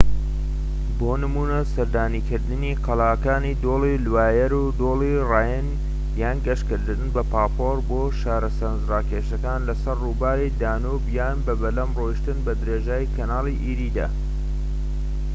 بۆ نمونە سەردانکردنی قەڵاکانی دۆڵی لوایەر و دۆڵی ڕاین یان گەشتکردن بە پاپۆر بۆ شارە سەرنجڕاکێشەکان لەسەر ڕووباری دانوب یان بە بەلەم ڕۆشتن بە درێژایی کەناڵی ئێریدا